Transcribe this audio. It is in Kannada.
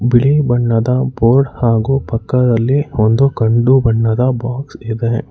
ಬಿಳಿ ಬಣ್ಣದ ಬೋರ್ಡ್ ಹಾಗು ಪಕ್ಕದಲ್ಲಿ ಒಂದು ಕಂದು ಬಣ್ಣದ ಬಾಕ್ಸ್ ಇದೆ.